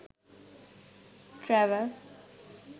travel